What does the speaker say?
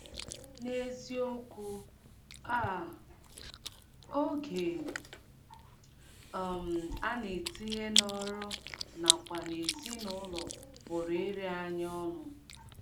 N’eziokwu um, oge um a na - etinye n’ọrụ nakwa n’ezinụlọ pụrụ iri anyị ọnụ.